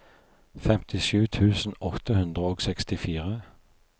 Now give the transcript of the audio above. femtisju tusen åtte hundre og sekstifire